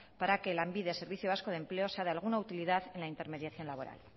para que lanbide servicio vasco de empleo sea de alguna utilidad en la intermediación laboral